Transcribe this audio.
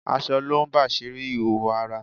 Aṣọ lo ń bàsírí ìhòòhò ara